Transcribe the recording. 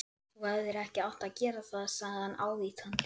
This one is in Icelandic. Þú hefðir ekki átt að gera það sagði hann ávítandi.